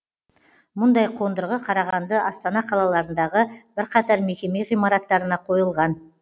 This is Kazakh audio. мұндай қондырғы қарағанды астана қалаларындағы бірқатар мекеме ғимараттарына қойылған